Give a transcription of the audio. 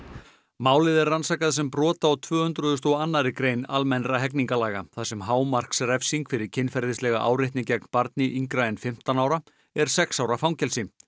málið er rannsakað sem brot á tvö hundruð og annarri grein almennra hegningarlaga þar sem hámarksrefsing fyrir kynferðislega áreitni gegn barni yngra en fimmtán ára er sex ára fangelsi